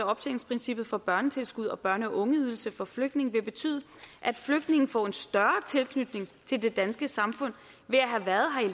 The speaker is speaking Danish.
af optjeningsprincippet for børnetilskud og børne og ungeydelse for flygtninge vil betyde at flygtninge får en større tilknytning til det danske samfund ved at have været her